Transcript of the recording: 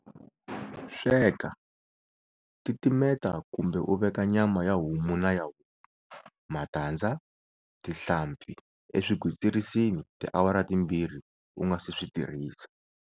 Sweka, titimeta kumbe u veka nyama ya homu na ya huku, matandza, tihlampfi eswigwitsirisini tiawara timbirhi u nga si swi tirhisa.